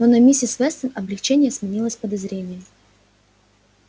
но на миссис вестон облегчение сменилось подозрением